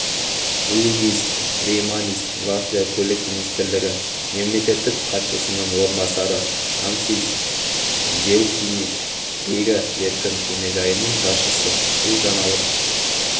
улдис рейманис латвия көлік министрлігі мемлекеттік хатшысының орынбасары ансис зелтиньш рига еркін кемежайының басшысы бұл жаңалық